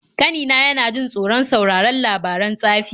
Ƙanina yana jin tsoron sauraron labaran tsafi.